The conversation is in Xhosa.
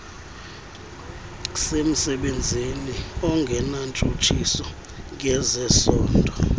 semsebenzini ongenantshutshiso ngezesondo